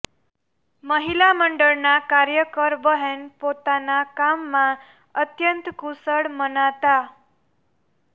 મહિલા મંડળના કાર્યકર બહેન પોતાના કામમાં અત્યંત કુશળ મનાતા